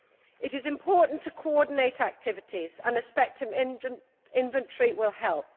It is important to coordinate activities and a spectrum inventory will help.